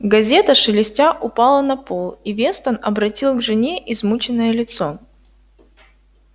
газета шелестя упала на пол и вестон обратил к жене измученное лицо